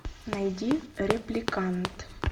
найди репликант